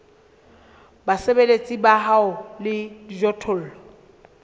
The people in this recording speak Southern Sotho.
basebeletsi ba hao le dijothollo